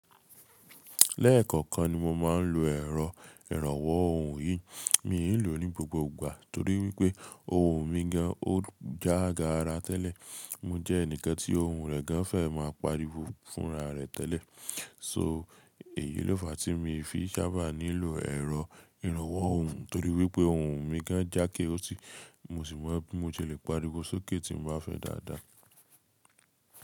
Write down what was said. Lẹ́ẹ̀kọ̀kan ni mo máa ń lo ẹ̀rọ ìrànwọ́ ohùn yìí, mi lò ó ní gbogbo ìgbà torí wípé ohùn mi gan an ó jágara tẹ́lẹ̀. Mo jẹ́ ẹnìkan tí ohùn rẹ̀ gan an fẹ́ máa pariwo fúnra rẹ̀ tẹ́lẹ̀. So èyí ló fàá tí mo fi sábà nílò ẹ̀rọ ìrànwọ́ ohùn torí wípé ohùn mi gan an jákéótì, mo sì mọ bí mo ṣe le paríwo sókè tí mo bá fẹ́ dáadáa.